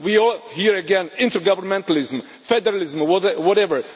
We are, here again, intergovernmentalism, federalism, whatever.